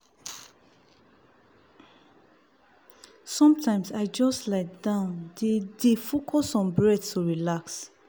sometimes i just lie down dey dey focus on breath to relax.